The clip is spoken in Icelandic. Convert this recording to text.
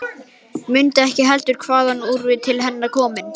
Mundi ekki heldur hvaðan hún var til hennar komin.